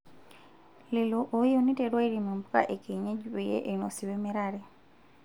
Lelo oyieu neiteru airem mpuka ekienyeji peyie einosi wemirare.